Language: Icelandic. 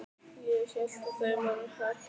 Síðan gekk hún af stað við hlið ungu stúlkunnar.